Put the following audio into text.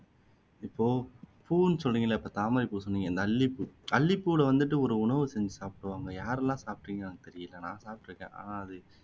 இப்போ பூன்னு சொல்றீங்கல்ல இப்போ தாமரைப்பூ சொன்னீங்க இந்த அல்லிப்பூ அல்லிப்பூவுல வந்துட்டு ஒரு உணவு செஞ்சு சாப்புடுவாங்க யாரெல்லாம் சாப்பிட்டுருக்கீங்கன்னு எனக்கு தெரியல ஆனா நான் சாப்பிட்டு இருக்கேன் ஆனா அது